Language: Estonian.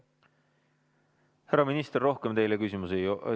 Härra minister, rohkem teile küsimusi ei ...